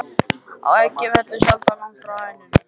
Að eggið fellur sjaldan langt frá hænunni!